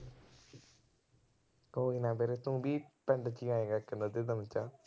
ਕੋਈ ਨਾ ਵੀਰੇ ਤੂੰ ਵੀ ਪਿੰਡ ਚ ਆਏਗਾ, ਇੱਕ ਨਾ ਅੱਧੇ ਦਿਨ ਚ।